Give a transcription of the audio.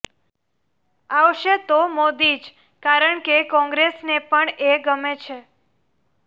આવશે તો મોદી જ કારણકે કોંગ્રેસને પણ એ ગમે છે